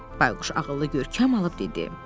Bayquş ağıllı görkəm alıb dedi.